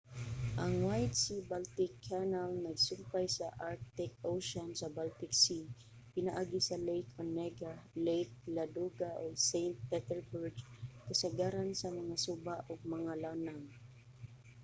ang white sea-baltic canal nagsumpay sa arctic ocean sa baltic sea pinaagi sa lake onega lake ladoga ug saint petersburg kasagaran sa mga suba ug mga lanaw